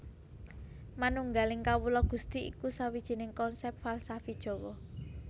Manunggaling Kawula Gusti iku sawijining konsèp falsafi Jawa